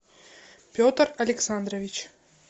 петр александрович